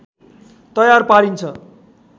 तयार पारिन्छ